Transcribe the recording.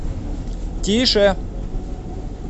тише